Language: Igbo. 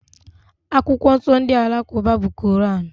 Akwụkwọ nsọ ndị Alakụba bụ Koran.